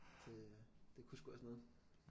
Det det kunne sgu også noget